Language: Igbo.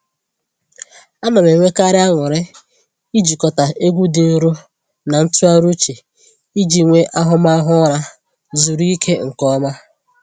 A na m enwekarị anụrị ijikọta egwu dị nro na ntụgharị uche iji nwee ahụmahụ ụra zuru ike nke ọma.